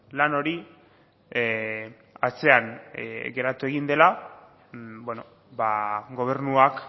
lan hori atzean geratu egin dela beno ba gobernuak